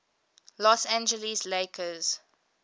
los angeles lakers